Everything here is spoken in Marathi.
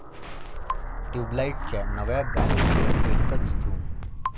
ट्युबलाइट'च्या नव्या गाण्याची एकच धूम